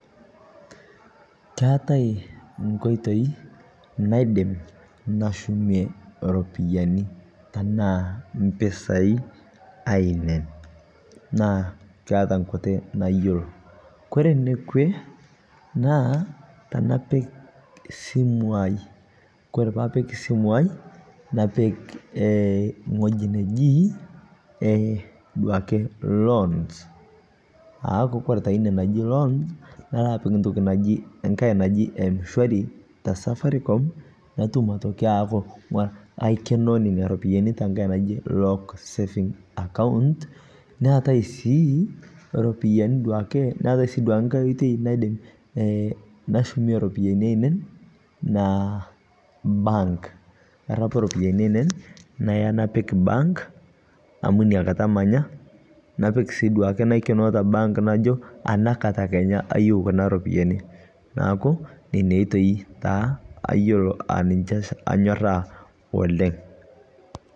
Keatai nkoitoi naidim nashumie ropiyani tanaa mpisai ainen naa keata nkutii nayoloo Kore nekwee naa tanapik simuu aai Kore paapik simu aai, napik ng'hoji nejii duake eeh loan aaku Kore taa inia najii loan naloo apik ntoki najii ng'hai najii m-shwari ta safaricom natum atokii aaku kaikenoo nenia ropiyani tang'ai najii locked saving account naatai sii ropiyanii sii duake naatai ng'ai oitei naidim nashumie ropiyani ainen naa bank narapu ropiyani ainen nayaa napik bank amu inia kataa manyaa napik sii duake naikenoo te bank najoo anaa kataa Kenya ayeu Kuna ropiyani naaku inia oitei taa ayoloo a ninshe anyoraa oleng'.